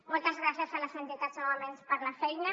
moltes gràcies a les entitats novament per la feina